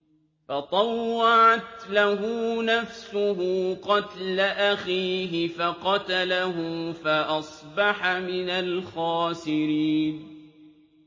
فَطَوَّعَتْ لَهُ نَفْسُهُ قَتْلَ أَخِيهِ فَقَتَلَهُ فَأَصْبَحَ مِنَ الْخَاسِرِينَ